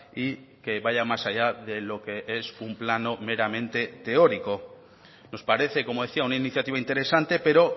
y que vaya más allá de lo que es un plano meramente teórico nos parece como decía una iniciativa interesante pero